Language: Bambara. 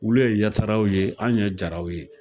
Olu ye Yataraw ye an' ye Jaraw ye.